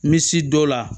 N bɛ si dɔ la